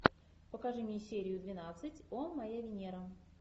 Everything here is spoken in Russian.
покажи мне серию двенадцать о моя венера